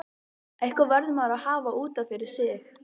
Eitthvað verður maður að hafa út af fyrir sig.